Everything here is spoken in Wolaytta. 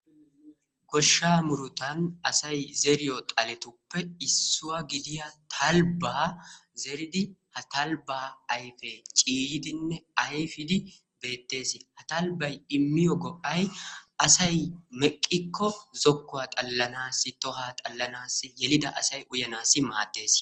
Goshshaa murutan asay zeriyo zaletuppe issuwa gidida talbaa zeridi ha talbaa ayfee ciiyidinne ayffidi beeteesi, ha talbay immiyo go'ay asay meqqikko koollanawu maadees.